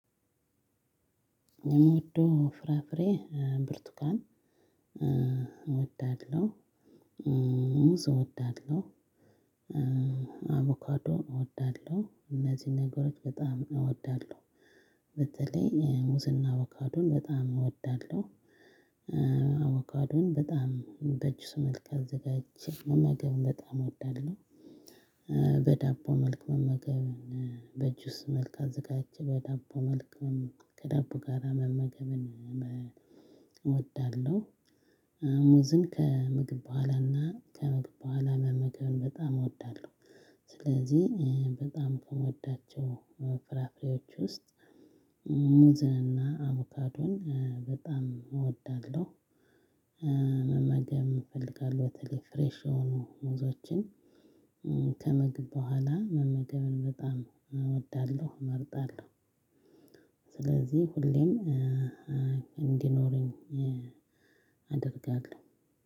የምወደው ፍራፍሬ ብርቱካን እወዳለሁ ሙዝ እወዳለሁ አቮካዶ እወዳለሁ እነዚህን ነገሮች በጣም እወዳለሁ በተለይ ሙዝና አቮካዶን በጣም እወዳለሁ አቮካዶን በጣም በጁስ መልክ አዘጋጅቼ መመገብ በጣም እወዳለሁ በዳቦ መልክ መመገብ በጁስ መልክ አዘጋጅቼ በዳቦ መልክ ከዳቦ ጋር መመገብን እወዳለሁ ሙዝን ከምግብ በኋላና ከምግብ በኋላ መመገብን በጣም እወዳለሁ ስለዚህ በጣም ከምወዳቸው ፍራፍሬዎች ውስጥ ሙዝንና አቮካዶን በጣም እወዳለሁ መመገብ እፈልጋለሁ በተለይ ፍሬሽ የሆኑ ሞዞችን ከምግብ ቧላ መመገቡን በጣም እወዳለሁ እመርጣለሁ። ስለዚህ ሁለም እንድኖረኝ አደርጋለሁ።